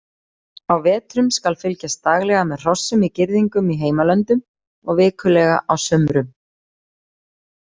Á vetrum skal fylgjast daglega með hrossum í girðingum í heimalöndum og vikulega á sumrum.